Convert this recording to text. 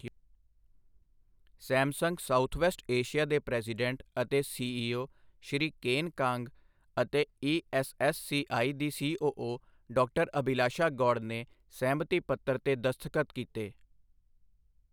Samsung southwest Asia ਦੇ president ਅਤੇ CEO Shri Ken Kang ਅਤੇ ਈਐੱਸਐੱਸਸੀਆਈ ਦੀ ਸੀਓਓ ਡਾ. ਅਭਿਲਾਸ਼ਾ ਗੌਡ ਨੇ ਸਹਿਮਤੀ ਪੱਤਰ ਤੇ ਦਸਤਖ਼ਤ ਕੀਤੇ।